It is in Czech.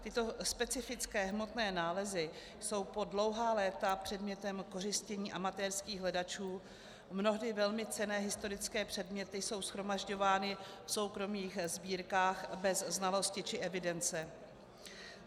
Tyto specifické hmotné nálezy jsou po dlouhá léta předmětem kořistění amatérských hledačů, mnohdy velmi cenné historické předměty jsou shromažďovány v soukromých sbírkách bez znalosti či evidence.